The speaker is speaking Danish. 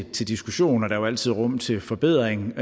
til diskussion og der er jo altid rum til forbedring